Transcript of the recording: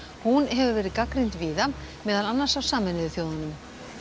hún hefur verið gagnrýnd víða meðal annars af Sameinuðu þjóðunum